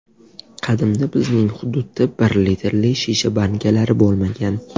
Qadimda bizning hududda bir litrli shisha bankalar bo‘lmagan.